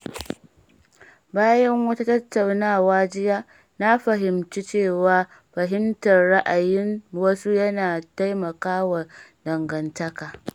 Bayan wata tattaunawa jiya, na fahimci cewa fahimtar ra'ayin wasu yana taimakawa dangantaka.